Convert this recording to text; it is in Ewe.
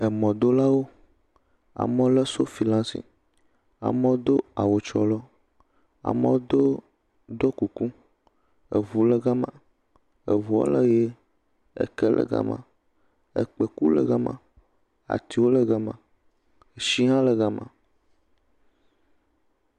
Mɔdolawo, amewo le sofi ɖe asi, amewo do awu trɔlɔ, amewo do do kuku, ŋu le gema, ŋua le ʋie, ke le gema, kpekuwo le gema, atiwo le gema, tsi hã le gema.